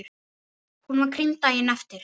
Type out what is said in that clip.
Hún var krýnd daginn eftir.